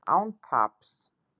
Án taps